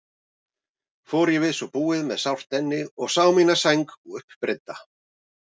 Fór ég við svo búið með sárt enni og sá mína sæng uppreidda.